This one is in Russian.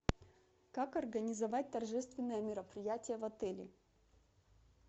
как организовать торжественное мероприятие в отеле